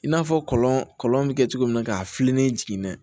I n'a fɔ kɔlɔn kɔlɔn bɛ kɛ cogo min na k'a fili n'i jiginna